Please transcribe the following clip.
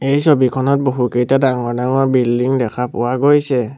এই ছবিখনত বহুকেইটা ডাঙৰ ডাঙৰ বিল্ডিং দেখা পোৱা গৈছে।